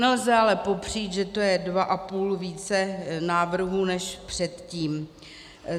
Nelze ale popřít, že to je dva a půl více návrhů (?) než předtím.